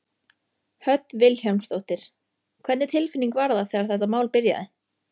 Hödd Vilhjálmsdóttir: Hvernig tilfinning var það þegar þetta mál byrjaði?